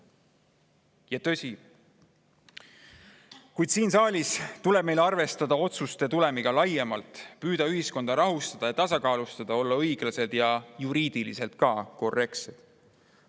Kuid siin saalis tuleb meil arvestada otsuste tulemiga laiemalt, püüda ühiskonda rahustada ja tasakaalustada, olla õiglased ja ka juriidiliselt korrektsed.